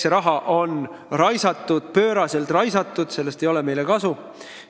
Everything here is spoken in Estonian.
See raha on raisatud, pööraselt raisatud, sellest ei ole meile kasu.